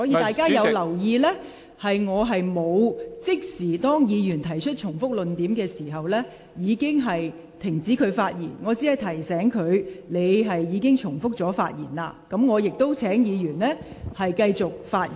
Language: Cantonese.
大家如有留意，當議員重複論點時，我並沒有即時指示議員停止發言，而只是提醒議員正重複論點，我亦隨而請有關議員繼續發言。